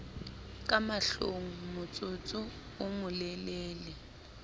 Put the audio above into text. ka mahlong motsotso o molelele